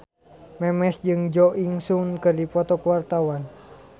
Memes jeung Jo In Sung keur dipoto ku wartawan